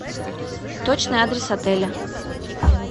точный адрес отеля